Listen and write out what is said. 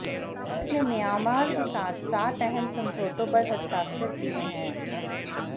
भारत ने म्यांमार के साथ सात अहम समझौतों पर हस्ताक्षर किए हैं